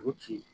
U ci